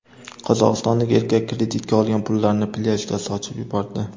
Qozog‘istonlik erkak kreditga olgan pullarini plyajda sochib yubordi.